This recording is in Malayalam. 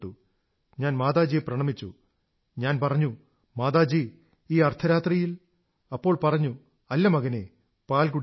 ഞാൻ മാതാജിയെ പ്രണമിച്ചു ഞാൻ പറഞ്ഞു മാതാജി ഈ അർധരാത്രിയിൽ അപ്പോൾ പറഞ്ഞു അല്ല മകനേ പാൽ കുടിക്കൂ